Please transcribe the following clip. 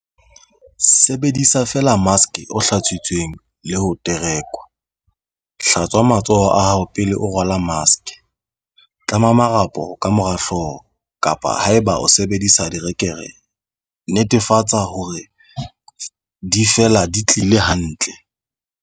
Sebedisa feela maske o hlatsitsweng le ho terekwa. Hlatswa matsoho a hao pele o rwala maske. Tlama marapo ka mora hlooho, kapa haeba o sebedisa dire-kere, netefatsa hore di fela di tiile hantle.5.